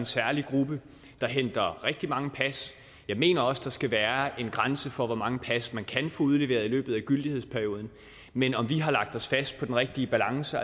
særlig gruppe der henter rigtig mange pas jeg mener også der skal være en grænse for hvor mange pas man kan få udleveret i løbet af gyldighedsperioden men om vi har lagt os fast på den rigtige balance